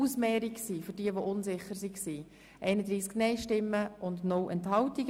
Für diejenigen, die unsicher waren: Das war eine Ausmehrung.